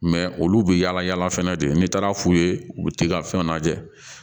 olu bɛ yaala yaala fɛnɛ de n'i taara fu ye u bɛ t'i ka fɛnw lajɛ